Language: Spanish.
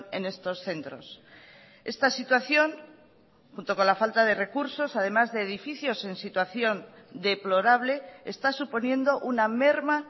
en estos centros esta situación junto con la falta de recursos además de edificios en situación deplorable está suponiendo una merma